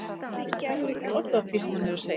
Hún trúir ekki orði af því sem hann er að segja!